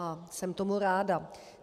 A jsem tomu ráda.